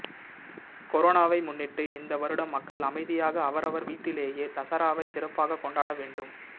கொரோனாவை முன்னிட்டு இந்த வருடம் மக்கள் அமைதியாக அவரவர் வீட்டிலேயே தசராவை சிறப்பாக கொண்டாட வேண்டும்